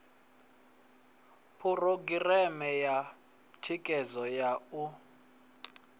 phurogireme ya thikhedzo ya u